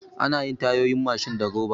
Anayin Tayoyin Mashin da roba